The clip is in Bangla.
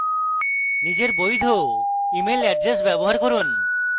নিজের বৈধ email এড্রেস ব্যবহার করুন